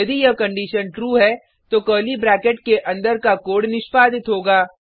यदि यह condition true है तो कर्ली ब्रैकेट के अंदर का कोड निष्पादित होगा